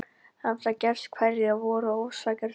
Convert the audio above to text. Hafi það gerst hverjar voru orsakir þess?